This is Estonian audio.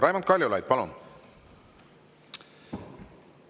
Raimond Kaljulaid, palun!